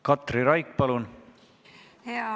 Katri Raik, palun!